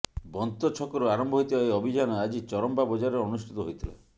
ବନ୍ତଛକରୁ ଆରମ୍ଭ ହୋଇଥିବା ଏହି ଅଭିଯାନ ଆଜି ଚରମ୍ପା ବଜାରରେ ଅନୁଷ୍ଟିତ ହୋଇଥିଲା